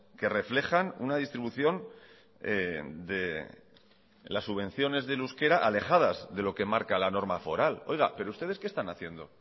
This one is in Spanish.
que reflejan una distribución de las subvenciones del euskera alejadas de lo que marca la norma foral oiga pero ustedes qué están haciendo